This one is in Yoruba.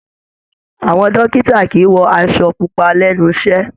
Àwọn dókítà kìí wọ aṣọ pupa lẹ́nu iṣẹ́.